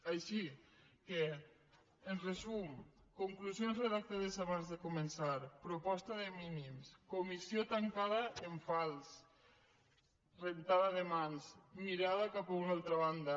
així que en resum conclusions redactades abans de començar proposta de mínims comissió tancada en fals rentada de mans mirada cap a una altra banda